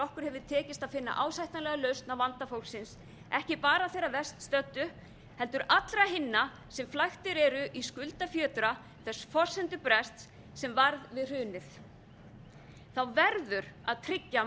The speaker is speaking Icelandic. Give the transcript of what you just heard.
okkur hefur tekist að finna ásættanlega lausn á vanda fólksins ekki bara þeirra verst stöddu heldur allra hinna sem flæktir eru í skuldafjötra þess forsendubrests sem varð við hrunið þá verður að tryggja